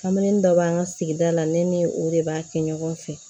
Kamalennin dɔ b'an ka sigida la ne ni o de b'a kɛ ɲɔgɔn fɛ